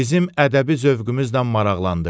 Bizim ədəbi zövqümüzlə maraqlandı.